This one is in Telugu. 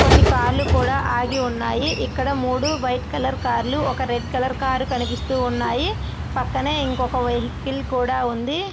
కొన్ని కార్ లు కూడా అలాగే ఉన్నాయి. ఇక్కడ మూడు రెడ్ కలర్ కార్ లు ఒక వైట్ కలర్ కారు కనిపిస్తూ ఉన్నాయి. పక్కనే ఒక వెహికిల్ కూడా ఉంది.